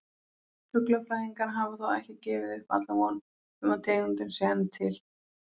Fuglafræðingar hafa þó ekki gefið upp alla von um að tegundin sé enn til.